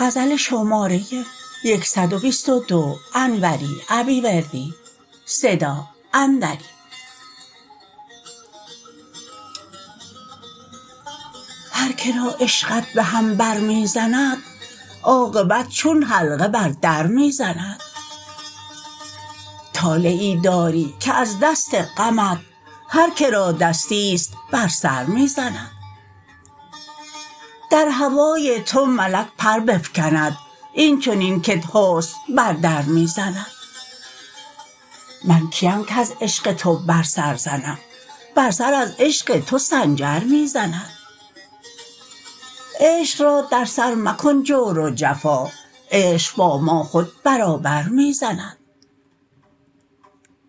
هرکرا عشقت به هم برمی زند عاقبت چون حلقه بر در می زند طالعی داری که از دست غمت هرکرا دستیست بر سر می زند در هوای تو ملک پر بفکند این چنین کت حسن بر در می زند من کیم کز عشق تو بر سر زنم بر سر از عشق تو سنجر می زند عشق را در سر مکن جور و جفا عشق با ما خود برابر می زند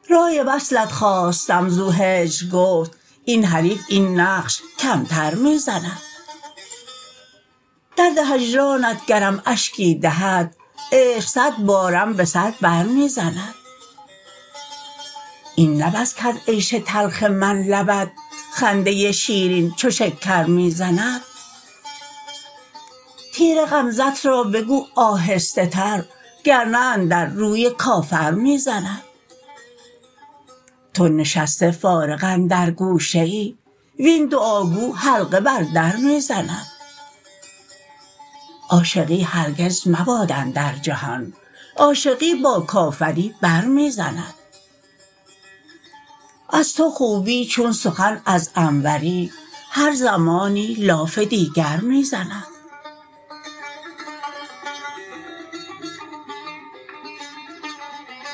رای وصلت خواستم زو هجر گفت این حریف این نقش کمتر می زند درد هجرانت گرم اشکی دهد عشق صدبارم به سر بر می زند این نه بس کز عیش تلخ من لبت خنده شیرین چو شکر می زند تیر غمزه ت را بگو آهسته تر گرنه اندر روی کافر می زند تو نشسته فارغ اندر گوشه ای وین دعاگو حلقه بر در می زند عاشقی هرگز مباد اندر جهان عاشقی با کافری بر می زند از تو خوبی چون سخن از انوری هر زمانی لاف دیگر می زند